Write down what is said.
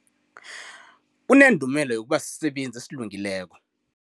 Unendumela yokuba sisebenzi esilungileko.